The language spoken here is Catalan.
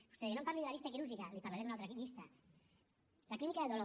vostè deia no em parli de la llista quirúrgica li parlaré d’una altra llista la clínica del dolor